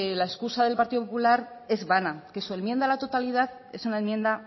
la escusa del partido popular es vana que su enmienda a la totalidad es una enmienda